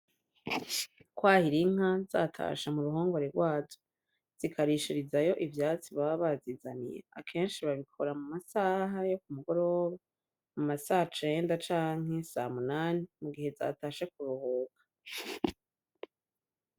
Kwahira Inka zatashe mu ruhongore gwazo zikarishirizayo ivyatsi baba bazizaniye akenshi babikora mu masaha yo kumugoroba mu masacenda canke samunani mugihe zatashe kuruhuka.